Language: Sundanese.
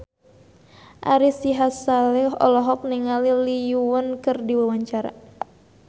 Ari Sihasale olohok ningali Lee Yo Won keur diwawancara